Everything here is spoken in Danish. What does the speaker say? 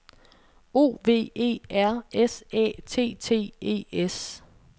O V E R S Æ T T E S